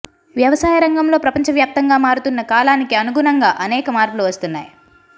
వ్యవసాయ రంగంలో ప్రపంచవ్యాప్తంగా మారుతున్న కాలానికి అనుగుణంగా అనేక మార్పులు వస్తున్నాయి